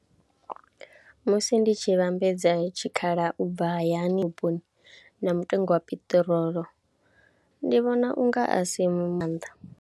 Musi ndi tshi vhambedza tshikhala u bva hayani vhuponi na mutengo wa piṱirolo ndi vhona u nga a si nga maanḓa.